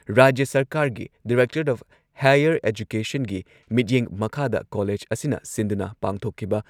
ꯔꯥꯖ꯭ꯌ ꯁꯔꯀꯥꯥꯔꯒꯤ directorate of higher ꯑꯦꯖꯨꯀꯦꯁꯟꯒꯤ ꯃꯤꯠꯌꯦꯡ ꯃꯈꯥꯗ ꯀꯣꯂꯦꯖ ꯑꯁꯤꯅ ꯁꯤꯟꯗꯨꯅ ꯄꯥꯡꯊꯣꯛꯈꯤꯕ